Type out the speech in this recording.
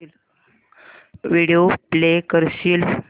video play करशील